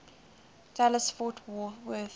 dallas fort worth